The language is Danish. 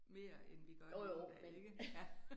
Mere end vi gør i dag ikke